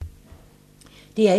DR1